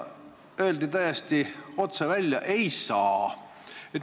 Öeldi täiesti otse välja, et ei saa.